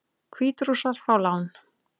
Hvítrússar fá lán